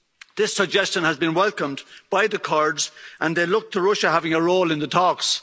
This suggestion has been welcomed by the Kurds and they look to Russia having a role in the talks.